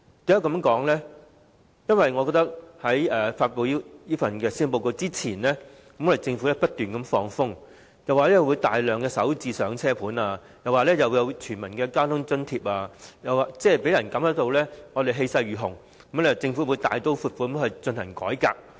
我覺得政府在發布施政報告之前不斷"放風"，說會推出大量"港人首置上車盤"、免入息審查的公共交通費用補貼計劃，讓人感到政府氣勢如虹，會大刀闊斧地進行改革。